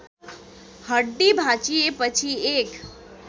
हड्डी भाँचिएपछि एक